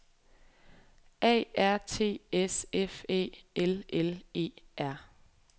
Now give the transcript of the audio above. A R T S F Æ L L E R